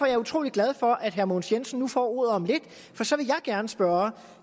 jeg utrolig glad for at herre mogens jensen nu får ordet om lidt for så vil jeg gerne spørge